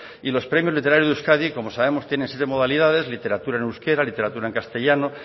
y los premios literarios de euskadi que como sabemos tiene siete modalidades literatura en euskara literatura en castellano